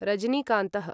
रजनीकान्तः